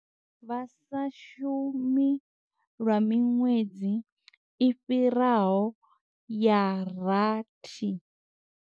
Vha sa shumi lwa miṅwedzi i fhiraho ya rathi.